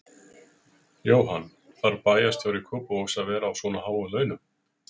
Jóhann: Þarf bæjarstjóri Kópavogs að vera á svona háum launum?